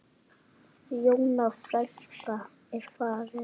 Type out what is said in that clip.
Jóna frænka er farin.